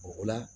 O la